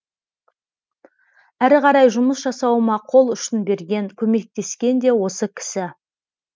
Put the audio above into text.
әрі қарай жұмыс жасауыма қол ұшын берген көмектескен де осы кісі